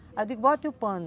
Aí eu digo, bota o pano.